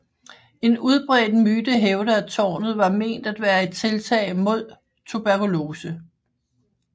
En udbredt myte hævder at tårnet var ment at være et tiltag mod tuberkulose